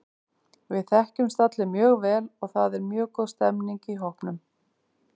Við þekkjumst allir mjög vel og það er mjög góð stemning í hópnum.